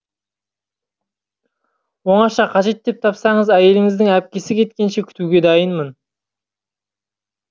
оңаша қажет деп тапсаңыз әйеліңіздің әпкесі кеткенше күтуге дайынмын